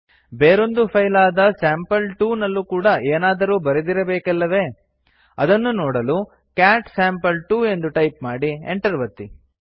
ಬೇರೊಂದು ಫೈಲ್ ಆದ ಸ್ಯಾಂಪಲ್2 ನಲ್ಲೂ ಕೂಡಾ ಏನಾದರೂ ಬರೆದಿರಬೇಕಲ್ಲವೇ ಅದನ್ನು ನೋದಲು ಕ್ಯಾಟ್ ಸ್ಯಾಂಪಲ್2 ಎಂದು ಟೈಪ್ ಮಾಡಿ enter ಒತ್ತಿ